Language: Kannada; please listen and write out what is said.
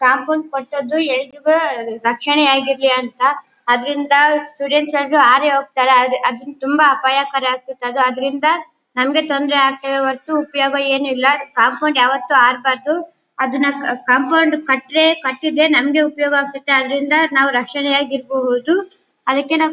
ಕಾಂಪೌಂಡ್ ಕಟ್ಟಿದ್ದು ಎಲ್ರಿಗೂ ರಕ್ಷಣೆ ಆಗಿರ್ಲಿ ಅಂತ ಅದ್ರಿಂದ ಸ್ಟೂಡೆಂಟ್ಸ್ ಎಲ್ರು ಹಾರಿ ಹೋಗ್ತಾರೆ ಅದು ಅದನ್ ತುಂಬಾ ಅಪಾಯಕಾರಿ ಆಗುತ್ತದೆ ಅದು ಅದ್ರಿಂದ ಹಂಗೆ ತೊಂದ್ರೆ ಆಗ್ತಿದೆ ಹೋರ್ತು ಉಪಯೋಗ ಏನು ಇಲ್ಲ ಕಾಂಪೌಂಡ್ ಯಾವತ್ತೂ ಹಾರ್ಬಾರ್ದು . ಅದನ್ನ ಕಾಂಪೌಂಡ್ ಕಟ್ರೆ ಕಟ್ಟಿದ್ರೆ ನಮ್ಗೆ ಉಪಯೋಗ ಆಗ್ತದೆ ಅದ್ರಿಂದ ನಾವ್ ರಕ್ಷಣೆ ಆಗ್ ಇರಬೋದು ಅದಕ್ಕೆ ನಾವ್ --